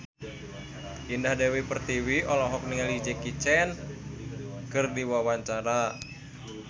Indah Dewi Pertiwi olohok ningali Jackie Chan keur diwawancara